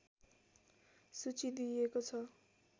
सूची दिइएको छ